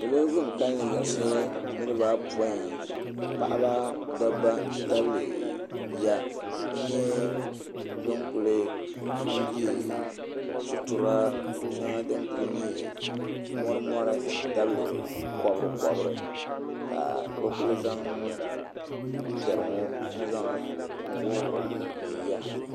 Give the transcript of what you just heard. Salo ban kalli yiɣisi niriba ayopoin paɣaba dabba n ti tabili bia n nyɛ bin kuli be sutura di kuli nyɛ mori mori nti tabili kobri kobri ka bɛ kuli zaŋ piɛri ŋɔ n wuɣi wuɣi bɛ yiya.